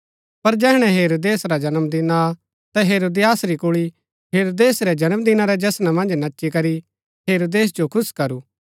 तैहै अपणी माता रै बहकाणै पुर बल्लू कि मिन्जो यूहन्‍ना बपतिस्मा दिणैबाळै रा सिर थाळा मन्ज ऐठीये ही मँगवाई देय्आ